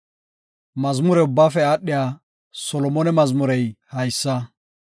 Mazmure ubbaafe aadhiya Solomone mazmurey haysa.